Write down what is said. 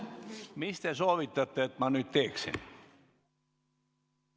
Mida te soovitate mul nüüd teha?